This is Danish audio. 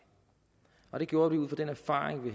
og det gjorde vi ud fra at vi